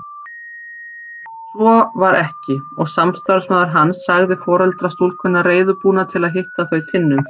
Svo var ekki og samstarfsmaður hans sagði foreldra stúlkunnar reiðubúna að hitta þau Tinnu.